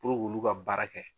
Puruk'ulu ka baara kɛ.